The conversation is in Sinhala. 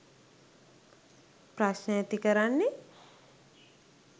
ප්‍රශ්ණ ඇති කරන්නේ.